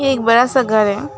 एक बड़ा सा घर है।